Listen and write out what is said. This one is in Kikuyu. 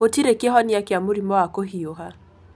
Gĩtirĩ kĩhonia kĩa mũrimũ wa kũhiũha.